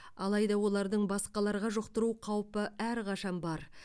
алайда олардың басқаларға жұқтыру қаупі әрқашан бар